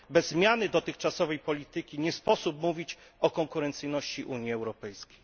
Bez zmiany dotychczasowej polityki nie sposób mówić o konkurencyjności Unii Europejskiej.